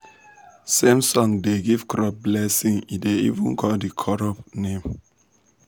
some song da give crop blessing e da even call the crop name